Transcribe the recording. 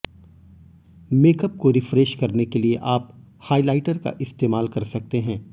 makeup को refresh करने के लिए आप हाईलाइटर का इस्तेमाल कर सकते हैं